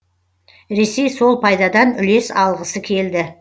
ресей сол пайдадан үлес алғысы келді